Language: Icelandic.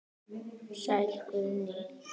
Sæll Guðni.